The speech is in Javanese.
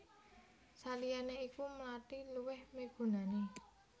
Saliyané iku mlathi luwih migunani